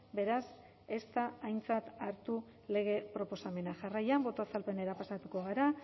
beraz ez da aintzat hartu lege proposamena jarraian boto azalpenera pasatuko gara